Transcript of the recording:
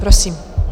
Prosím.